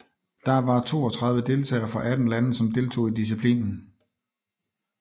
Der var toogtredive deltagere fra atten lande som deltog i disciplinen